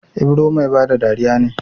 Ibro Mai bada dariya ne